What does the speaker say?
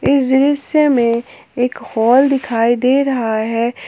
इस दृश्य में एक हॉल दिखाई दे रहा है।